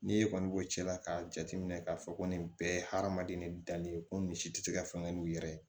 N'i e kɔni b'o cɛla k'a jateminɛ k'a fɔ ko nin bɛɛ ye hadamaden ni danni ko misi tɛ se ka fɛn n'u yɛrɛ ye